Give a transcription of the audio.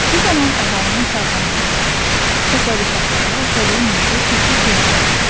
Bu zaman əhalinin sağlamlığına, təsərrüfatlara və təbii mühitə ciddi ziyan dəyir.